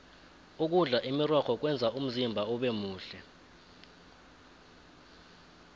ukudla imirorho kwenza umzimba ubemuhle